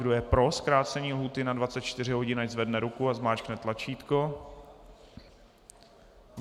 Kdo je pro zkrácení lhůty na 24 hodin, ať zvedne ruku a zmáčkne tlačítko.